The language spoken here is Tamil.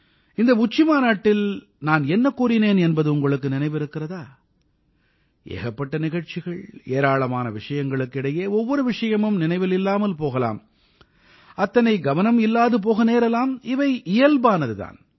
இந்த உச்சிமாநாட்டில் நான் என்ன கூறினேன் என்பது உங்களுக்கு நினைவிருக்கிறதா ஏகப்பட்ட நிகழ்ச்சிகள் ஏராளமான விஷயங்களுக்கு இடையே ஒவ்வொரு விஷயமும் நினைவில் இல்லாமல் போகலாம் அத்தனை கவனம் இல்லாது போக நேரலாம் இவை இயல்பானது தான்